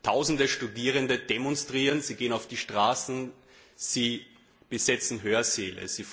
Tausende Studierende demonstrieren, sie gehen auf die Straßen, sie besetzen Hörsäle.